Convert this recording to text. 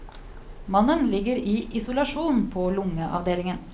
Mannen ligger i isolasjon på lungeavdelingen.